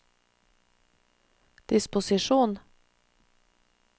disposisjon